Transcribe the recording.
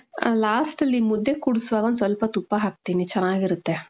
last ಅಲ್ಲಿ ಮುದ್ದೆ ಕೂಡ್ಸುವಾಗ ಒಂದ್ ಸ್ವಲ್ಪ ತುಪ್ಪ ಹಾಕ್ತೀನಿ. ಚೆನ್ನಾಗ್ ಇರುತ್ತೆ .